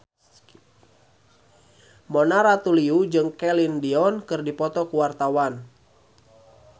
Mona Ratuliu jeung Celine Dion keur dipoto ku wartawan